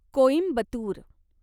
Coimbatore